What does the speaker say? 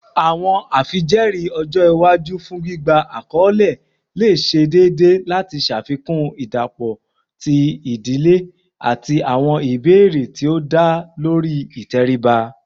Awọn afijẹẹri ọjọ iwaju fun gbigba akọle le ṣe deede lati ṣafikun idapọ ti idile ati awọn ibeere ti o da lori iteriba